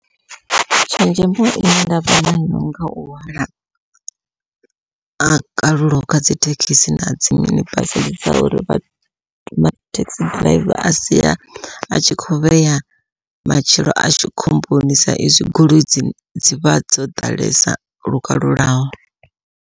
Tshenzhemo ine ndavha nayo ngau hwala a kalulaho kha dzithekhisi nadzi mini basi, dza uri taxi driver a sia a tshi kho vhea matshilo ashu khomboni sa izwi goloi dzi dzivha dzo ḓalesa lukalulaho.